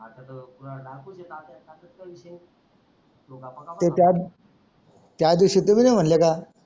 ते त्यात त्या दिवसी तुम्ही नाही मानले का.